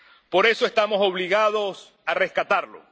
Por eso, estamos obligados a rescatarlo.